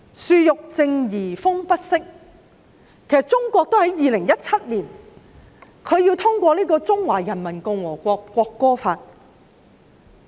"樹欲靜而風不息"，為甚麼中國要在2017年通過訂立《中華人民共和國國歌法》？